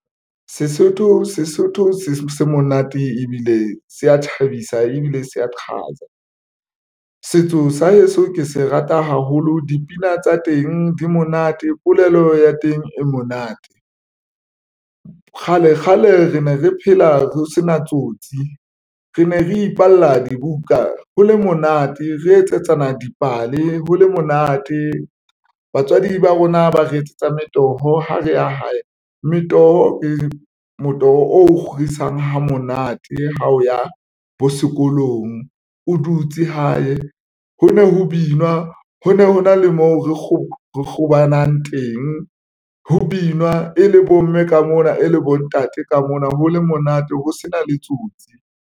Sesotho se monate ebile se ya thabisa ebile se ya chaza setso sa heso. Ke se rata haholo dipina tsa teng di monate polelo ya teng e monate kgale kgale re ne re phela ho sena tsotsi rene re ipalla dibuka ho le monate, re etsetsana dipale ho le monate. Batswadi ba rona ba re etsetsa metoho, ha re ya hae metoho ke motoho o kgorisang ha monate ha o ya bo sekolong o dutse hae ho ne ho binwa. Ho ne hona le moo re robalang teng, ho binwa e le bomme ka mona e le bontate ka mona ho le monate ho sena le tsotsi.